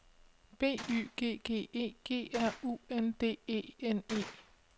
B Y G G E G R U N D E N E